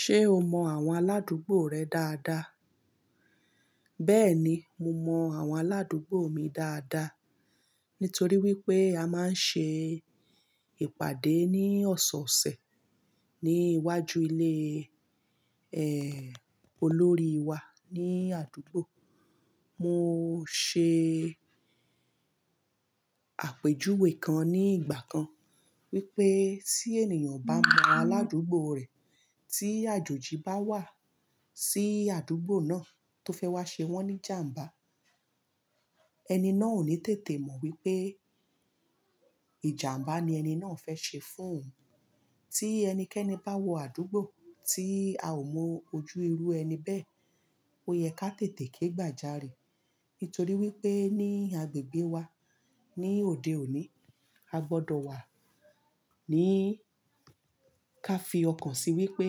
Ṣé o mọ àwọn aládùúgbò rẹ dáadáa? Bẹ́ẹ̀ni, mo mọ àwọn aládùúgbò mi dáadáa nítorí wípé a máa ń ṣe ìpàdé ní ọ̀sọ̀ọ̀sẹ̀ ní iwájú ilé, ẹ, olórí wa ní àdúgbò. Mo ṣe àpèjúwe kan ní ìgbà kan wípé tí ènìyàn o bá mọ aládùúgbò rẹ̀, tí àjòjì bá wà sí àdúgbò náà tó fẹ́ wá ṣe wọ́n ní ìjàǹbá, ẹni náà ò ní tètè mọ wípé ìjàǹbá ni ẹni náà fẹ́ ṣe fún òun. Tí ẹnikẹ́ni bá wọ àdúgbò tí a ò mọ ojú irú ẹni bẹ́ẹ̀, ó yẹ ká tètè ké gbà jàre. Nítorí wípé ní agbègbè wa ní òde òní, a gbọdọ̀ wà ní ká fi ọkàn si wípé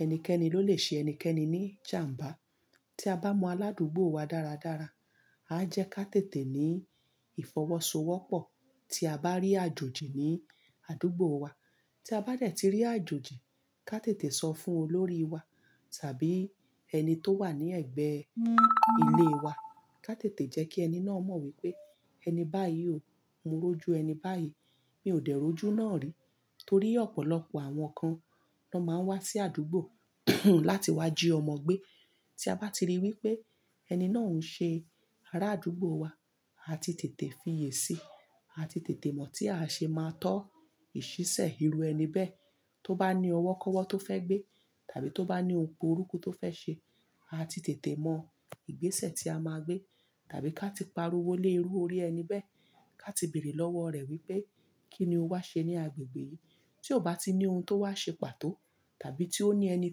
ẹnikẹ́ni ló lè ṣe ẹnikẹ́ni ní ìjàǹbá. Tí a bá mọ aládùúgbò wa dáradára, a jẹ ká tètè ní ìfọwọ́sowọ́pọ̀ tí a bá rí àjòjì ní àdúgbò wa. Tí a bá dẹ̀ tí rí àjòjì, ká tètè sọ fún olórí wa tàbí ẹni tó wà ní ẹ̀gbẹ́ ilé wa. Ká tètè jẹ́ kí ẹni náà mọ̀ wípé ẹni báyìí ò ń mójú ẹni báyìí, mi ò dé ojú náà rí. Torí ọ̀pọ̀lọpọ̀ àwọn kan ló máa ń wá sí àdúgbò láti wá jí ọmọ gbé. Tí a bá ti rí i wípé ẹni náà ń ṣe ará àdúgbò wa, a ti tètè fiye sí i. A ti tètè mọ̀ tí a ṣe máa tọ́ ìṣísẹ̀ irú ẹni bẹ́ẹ̀ tó bá ní ọwọ́ kọ́wọ́ tó fẹ́ gbé tàbí tó bá ní òpó orúkọ tó fẹ́ ṣe. A ti tètè mọ ìgbésẹ̀ tí a máa gbé tàbí ká ti pariwo lé irú orí ẹni bẹ́ẹ̀ ká ti bèrè lọ́wọ́ rẹ̀ wípé kí ni o wá ṣe ní agbègbè yìí. Tí ò bá tí ní ohun tó wá ṣe pàtó tàbí tí ó ní ẹni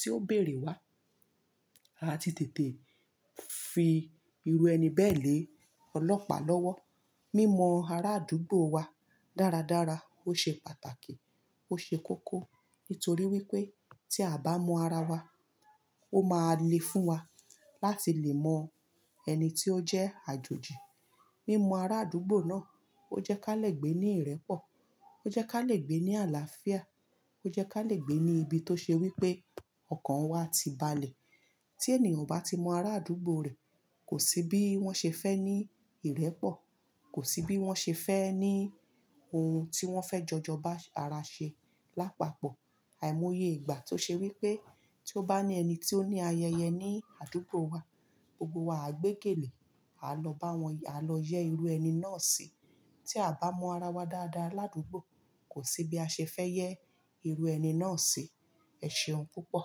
tí ó béèrè wá, a ti tètè fi irú ẹni bẹ́ẹ̀ lé ọlọ́pàá lọ́wọ́. Mímọ ará àdúgbò wa dáradára ó ṣe pàtàkì, ó ṣe kókó. Nítorí wípé tí a bá mọ ara wa, ó máa le fún wa láti lè mọ ẹni tí ó jẹ́ àjòjì. Mímọ ará àdúgbò náà ó jẹ́ ká lè gbé ní ìrẹ́pọ̀, ó jẹ́ ká lè gbé ní àlàáfíà, ó jẹ́ ká lè gbé ní ibi tó ṣe wípé ọkàn wa ti balẹ̀. Tí ènìyàn ò bá ti mọ ará àdúgbò rẹ̀, kò sí bí wọ́n ṣe fẹ́ ní ìrẹ́pọ̀, kò sí bí wọ́n ṣe fẹ́ ní ohun tí wọ́n fẹ́ jọ jọba ara ṣe lápapọ̀. Àìmoye ìgbà tó ṣe wípé tí ó bá ní ẹni tí ó ní ayẹyẹ ní àdúgbò wa, gbogbo wa á gbégelè, á lọ bá wọn y-- á lọ yẹ́ irú ẹni náà sí. Tí a bá mọ ara wa dáadáa ládùúgbò, kò sí bí a ṣe fẹ́ yẹ́ irú ẹni náà sí. Ẹ ṣeun púpọ̀